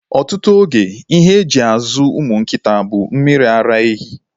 Ọtụtụ oge, ihe e ji azụ ụmụ nkịta bụ mmiri ara ehi.